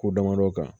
Ko damadɔw kan